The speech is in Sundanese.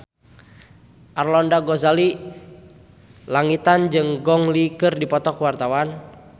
Arlanda Ghazali Langitan jeung Gong Li keur dipoto ku wartawan